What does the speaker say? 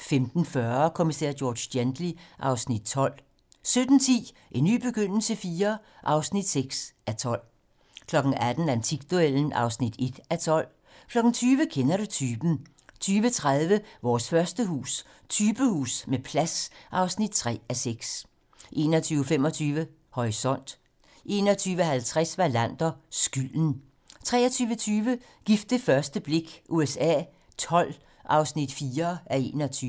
15:40: Kommissær George Gently (Afs. 12) 17:10: En ny begyndelse IV (6:12) 18:00: Antikduellen (1:12) 20:00: Kender du typen? 20:30: Vores første hus - Typehus med plads (3:6) 21:25: Horisont 21:50: Wallander: Skylden 23:20: Gift ved første blik USA XII (4:21)